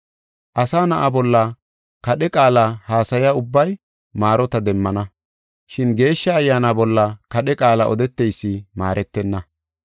Asa Na7a bolla kadhe qaala haasaya ubbay maarota demmana, shin Geeshsha Ayyaana bolla kadhe qaala odeteysi maaretenna.